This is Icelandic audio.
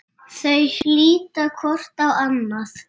Þau líta hvort á annað.